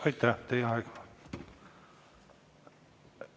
Aitäh, teie aeg!